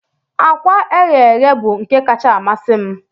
Akwa eghee eghe bụ nke kacka amasị m